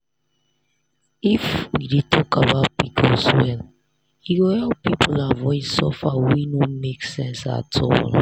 if we dey talk about pcos well e go help people avoid suffer wey no make sense at all.